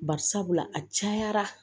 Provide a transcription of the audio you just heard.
Bari sabula a cayara